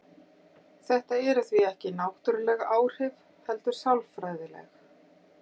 Þetta eru því ekki náttúruleg áhrif heldur sálfræðileg.